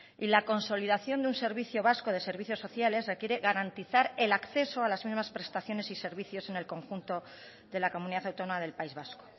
y la consolidación de un servicio vasco de servicios sociales requiere garantizar el acceso a las mismas prestaciones y servicios en el conjunto de la comunidad autónoma del país vasco